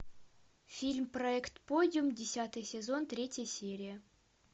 фильм проект подиум десятый сезон третья серия